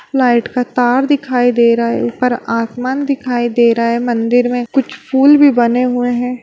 Flight का तार दिखाई दे रहा है। ऊपर आसमान दिखाई दे रहा है। मंदिर में कुछ फूल भी बने हुए हैं।